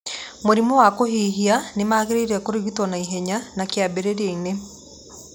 mũrimũ wa kũhiũha nĩ magĩrĩire kũrigitwo na ihenya na kĩambĩrĩria-inĩ.